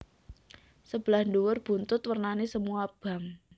Sebelah dhuwur buntut wernane semu abang